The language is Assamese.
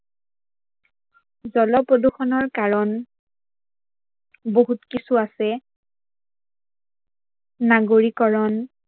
জল্প্ৰদূৰ্ষনৰ কাৰন বহুত কিছু আছে নাগৰিকৰন